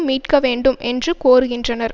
மீட்க வேண்டும் என்று கோருகின்றனர்